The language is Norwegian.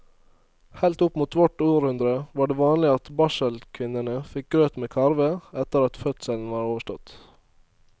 Helt opp mot vårt århundre var det vanlig at barselkvinnene fikk grøt med karve etter at fødselen var overstått.